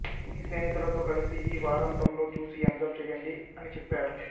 మీ స్నేహితులతో కలిసి ఈ వారాంతంలో చూసి ఎంజాయ్ చేయండి అని చెప్పారు